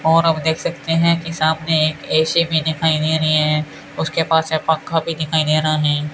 और आप देख सकते है की सामने एक ए_सी भी दिखाई दे रही हैं उसके पास एक पंखा भी दिखाई दे रहा हैं।